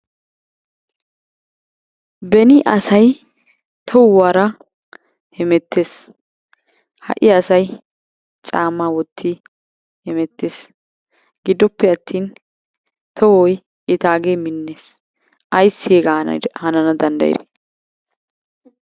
Beni asay tohuwara hemettees. Ha"i asay caammaa wotti hemettees. Gidoppe attin tohoy etaagee minnees. Ayssi hegaa hanana danddayidee?